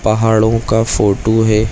पहड़ो का फोटो है।